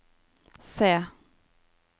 se